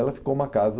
Ela ficou uma casa...